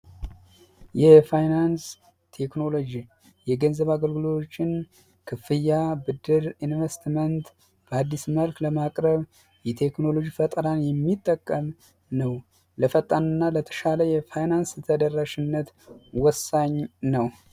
የፋይናንስ ቴክኖሎጂ የገንዘብ አገልግሎቶችን ክፍያ ብድር ኢንቨስትመንት በአዲስ መልክ ለማቅረብ የቴክኖሎጂ ፈጠራን የሚጠቀም ነው ለፈጣንና ለተሻለ የፋይናንስ ተደርራሽነት ወሳኝ ነው።